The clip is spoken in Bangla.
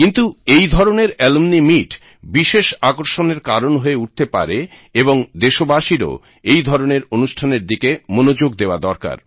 কিন্তু এইধরণের অ্যালুমনি মিট বিশেষ আকর্ষণের কারণ হয়ে উঠতে পারে এবং দেশবাসীরও এই ধরণের অনুষ্ঠানের দিকে মনোযোগ দেওয়া দরকার